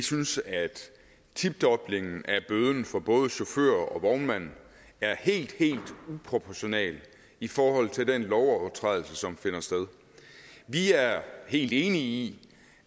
synes at tidoblingen af bøden for både chauffør og vognmand er helt helt uproportional i forhold til den lovovertrædelse som finder sted vi er helt enig i